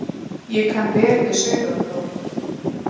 Ég kann vel við Sauðárkrók.